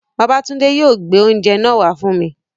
Babátúndé yóò gbé oúnjẹ náà wá fún mi